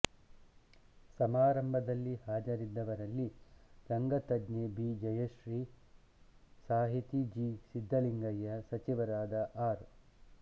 ಸಮಾರಂಭದಲ್ಲಿ ಹಾಜರಿದ್ದ ವರಲ್ಲಿ ರಂಗತಜ್ಞೆ ಬಿ ಜಯಶ್ರೀಸಾಹಿತಿ ಜಿ ಎಸ್ ಸಿದ್ಧಲಿಂಗಯ್ಯ ಸಚಿವರಾದ ಆರ್